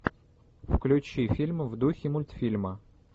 включи фильмы в духе мультфильма